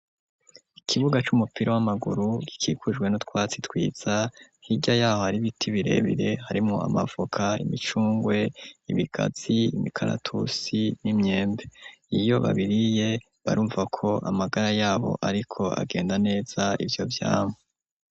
Ikibuga c'umupira w'amaguru gikikujwe n'utwatsi twiza, hirya y'aho hari ibiti birebire, harimwo amavoka, imicungwe, ibigazi, imikaratusi n'imyembe. Iyo babiriye barumva ko amagara yabo ariko agenda neza, ivyo vyamwa.